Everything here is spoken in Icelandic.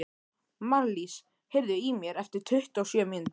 Marlís, heyrðu í mér eftir tuttugu og sjö mínútur.